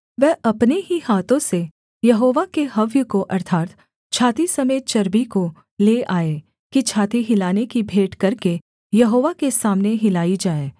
वह अपने ही हाथों से यहोवा के हव्य को अर्थात् छाती समेत चर्बी को ले आए कि छाती हिलाने की भेंट करके यहोवा के सामने हिलाई जाए